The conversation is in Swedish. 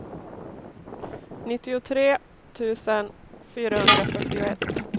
nittiotre tusen fyrahundrafyrtioett